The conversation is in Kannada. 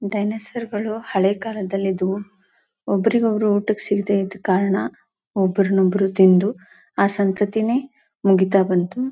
ಡೈನೋಸಾರ್ಗಳು ಹಳೆ ಕಾಲದಲ್ಲಿ ಇದ್ವು ಒಬ್ಬರಿಗೆ ಒಬ್ಬರು ಊಟ ಸಿಗದೇ ಇದ್ದ ಕಾರಣ ಒಬ್ರನ್ನ ಒಬ್ರು ತಿಂದು ಆ ಸಂತತಿನೇ ಮುಗಿತಾ ಬಂತು.